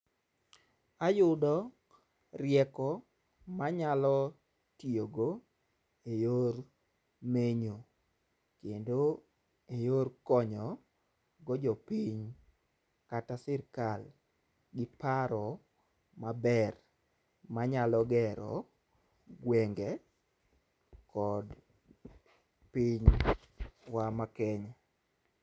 Ayudo rieko manyalo tiyo go e yor menyo kendo e yor konyo go jopiny kata sirikal gi paro maber manyalo gero gwenge kod piny wa ma Kenya.